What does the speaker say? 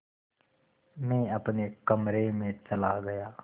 मैं अपने कमरे में चला गया